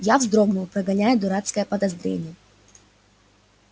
я вздрогнул прогоняя дурацкое подозрение